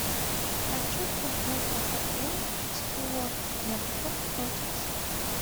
хочу футбол апл саутгемптон против сити